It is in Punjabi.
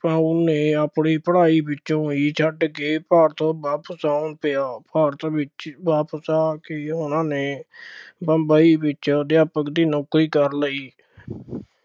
ਭਾਉ ਨੇ ਆਪਣੀ ਪੜ੍ਹਾਈ ਵਿੱਚੋਂ ਹੀ ਛੱਡ ਕੇ ਭਾਰਤ ਵਾਪਸ ਆਉਣਾ ਪਿਆ, ਭਾਰਤ ਵਿੱਚ ਵਾਪਸ ਆ ਕੇ ਉਹਨਾ ਨੇ ਬੰਬਈ ਵਿੱਚ ਅਧਿਆਪਕ ਦੀ ਨੌਕਰੀ ਕਰ ਲਈ।